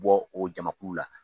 Bɔ o jamakulu la